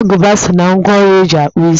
Agụba so na ngwá ọrụ e ji akpụ isi